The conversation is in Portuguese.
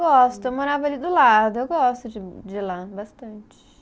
Gosto, eu morava ali do lado, eu gosto de de ir lá, bastante.